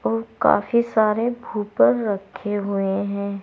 और काफी सारे बूफर रखे हुए हैं।